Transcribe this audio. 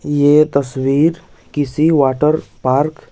यह तस्वीर किसी वाटर पार्क --